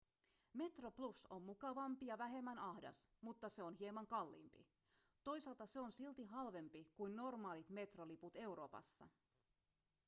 metroplus on mukavampi ja vähemmän ahdas mutta se on hieman kalliimpi toisaalta se on silti halvempi kuin normaalit metroliput euroopassa